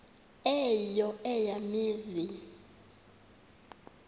eyo eya mizi